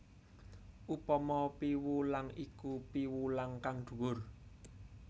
Upama piwulang iku piwulang kang dhuwur